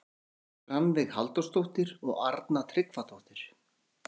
Margrét Rannveig Halldórsdóttir og Arna Tryggvadóttir.